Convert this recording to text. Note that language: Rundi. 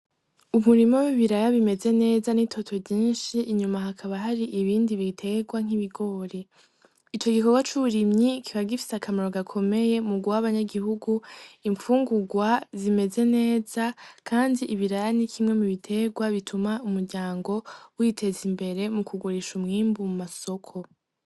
Umurima w'ibiraya bimeze neza n'itoto ryinshi. Inyuma hakaba hari ibindi biterwa nk'ibigori. Ico gikorwa c'uburimyi kiba gifise akamaro gakomeye, mu guha abanyagihugu imfungurwa zimeze neza. Kandi ibiraya ni kimwe mu biterwa bituma umuryango witeza imbere mu kugurisha umwimbu mu masoko.